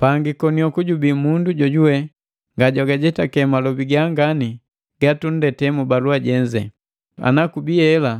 Pangi konioku jubi mundu jojuwe ngajwagajetake malobi gangane gatunndete mu balua jenze. Ana kubi hela